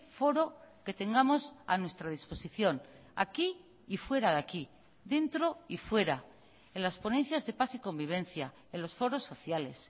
foro que tengamos a nuestra disposición aquí y fuera de aquí dentro y fuera en las ponencias de paz y convivencia en los foros sociales